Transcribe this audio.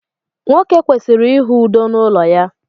nwoke kwesịrị ịhụ udo n’ụlọ ya